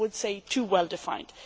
some would say too well defined.